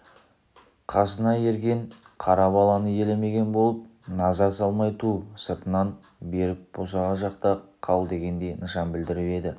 қасына ерген қара баланы елемеген болып назар салмай ту сыртын беріп босаға жақта қал дегендей нышан білдіріп еді